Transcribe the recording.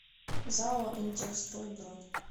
зао интехстрой бронь